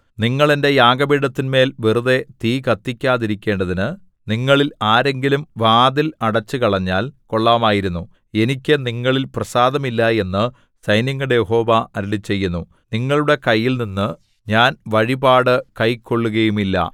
നിങ്ങൾ എന്റെ യാഗപീഠത്തിന്മേൽ വെറുതെ തീ കത്തിക്കാതിരിക്കേണ്ടതിനു നിങ്ങളിൽ ആരെങ്കിലും വാതിൽ അടച്ചുകളഞ്ഞാൽ കൊള്ളാമായിരുന്നു എനിക്ക് നിങ്ങളിൽ പ്രസാദമില്ല എന്നു സൈന്യങ്ങളുടെ യഹോവ അരുളിച്ചെയ്യുന്നു നിങ്ങളുടെ കൈയിൽനിന്ന് ഞാൻ വഴിപാട് കൈക്കൊൾകയുമില്ല